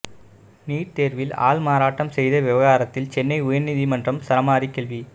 NEET தேர்வில் ஆள்மாறாட்டம் செய்த விவகாரத்தில் சென்னை உயர்நீதிமன்றம் சரமாரி கேள்வி